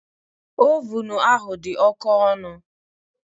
Ovunu ahụ dị oke ọnụ